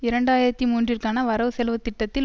இரண்டு ஆயிரத்தி மூன்றுற்கான வரவு செலவுத்திட்டத்தில்